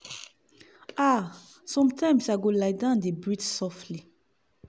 ah-sometimes i go lie down dey breathe softly.